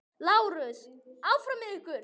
LÁRUS: Áfram með ykkur!